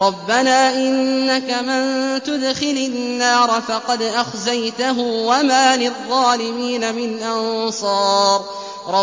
رَبَّنَا إِنَّكَ مَن تُدْخِلِ النَّارَ فَقَدْ أَخْزَيْتَهُ ۖ وَمَا لِلظَّالِمِينَ مِنْ أَنصَارٍ